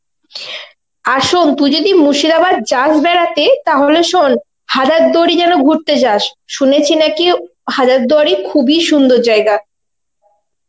আর শোন তুই যদি মুর্শিদাবাদ যাস বেড়াতে তাহলে শোন হাজারদুয়ারী যেন ঘুরতে যাস. শুনেছি নাকি হাজারদুয়ারী খুবই সুন্দর জায়গা.